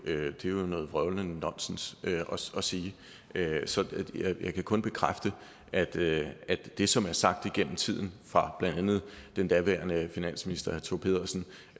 det er jo noget vrøvlende nonsens at sige så jeg kan kun bekræfte at det det som er sagt igennem tiden blandt andet af den daværende finansminister thor pedersen